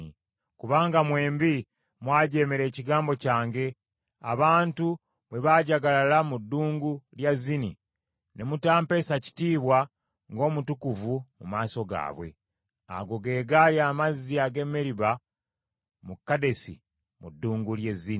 kubanga mwembi mwajeemera ekigambo kyange, abantu bwe baajagalala mu ddungu lya Zini ne mutampeesa kitiibwa ng’omutukuvu mu maaso gaabwe.” Ago ge gaali amazzi ag’e Meriba mu Kadesi mu ddungu ly’e Zini.